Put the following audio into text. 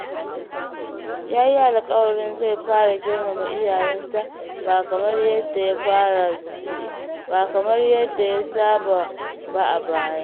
Ya yi alƙawarin zai fara girmama iyayenta, ba kamar yadda ya saba ba a baya.